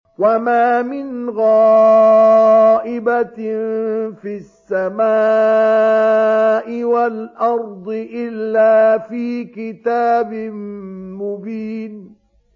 وَمَا مِنْ غَائِبَةٍ فِي السَّمَاءِ وَالْأَرْضِ إِلَّا فِي كِتَابٍ مُّبِينٍ